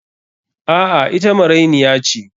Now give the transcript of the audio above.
A'a, ita marainiya ce.